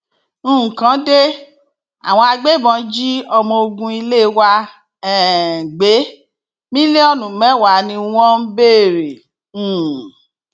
nǹkan de àwọn agbébọn jí ọmọ ogun ilé wa um gbé mílíọnù mẹwàá ni wọn ń béèrè um